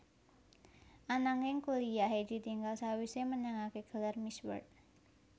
Ananging kuliyahé ditinggal sawisé menangaké gelar Miss World